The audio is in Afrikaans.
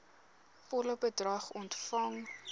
volle bedrag ontvang